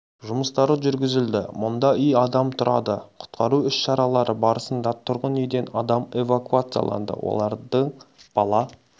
жұмыстары жүргізілді мұнда үй адам тұрады құтқару іс-шаралары барысында тұрғын үйден адам эвакуацияланды олардың бала